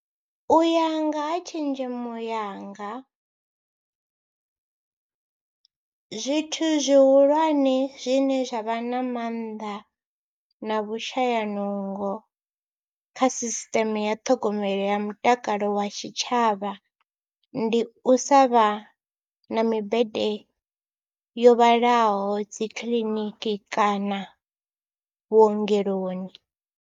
U ya nga ha tshenzhemo yanga zwithu zwihulwane zwine zwa vha na maanḓa na vhushayanungo kha sisiṱeme ya ṱhogomelo ya mutakalo wa tshitshavha, ndi u sa vha na mibete yo vhalaho dzi kiḽiniki kana vhuongeloni.